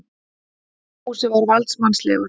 Fúsi var valdsmannslegur.